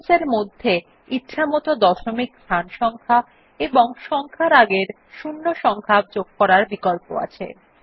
Options এর মধ্যে ইছামত দশমিক স্থান সংখ্যা এবং সংখ্যার আগের শূন্য সংখ্যা যোগ করার বিকল্প আছে